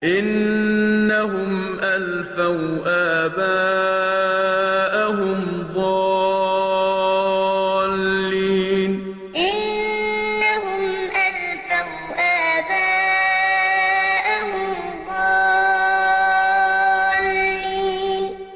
إِنَّهُمْ أَلْفَوْا آبَاءَهُمْ ضَالِّينَ إِنَّهُمْ أَلْفَوْا آبَاءَهُمْ ضَالِّينَ